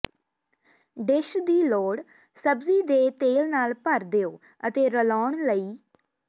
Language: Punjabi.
ਡਿਸ਼ ਦੀ ਲੋੜ ਸਬਜ਼ੀ ਦੇ ਤੇਲ ਨਾਲ ਭਰ ਦਿਓ ਅਤੇ ਰਲਾਉਣ ਲਈ